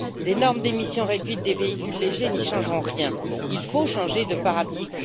Les normes d'émissions réduites des véhicules légers n'y changeront rien. Il faut changer de paradigme.